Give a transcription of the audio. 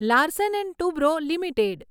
Larsen and Toubro limited